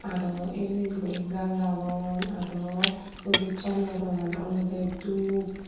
aro el el guri gaj agon aro offijchano rongan olowde dub.